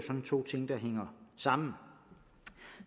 to ting der hænger sammen